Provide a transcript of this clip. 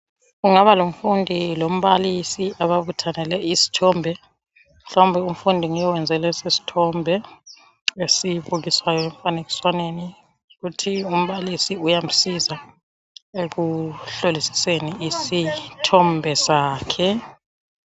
Kungaba lomfundi lombalisi ababuthanele isthombe. Mhlawumbe umfundi nguye oyenze lesi sithombe esibukiswayo emfanekiswaneni kuthi umbalisi uyamsiza ekuhlolisiseni isithombe sakhe.